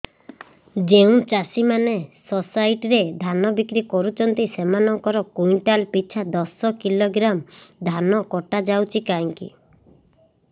ଯେଉଁ ଚାଷୀ ମାନେ ସୋସାଇଟି ରେ ଧାନ ବିକ୍ରି କରୁଛନ୍ତି ସେମାନଙ୍କର କୁଇଣ୍ଟାଲ ପିଛା ଦଶ କିଲୋଗ୍ରାମ ଧାନ କଟା ଯାଉଛି କାହିଁକି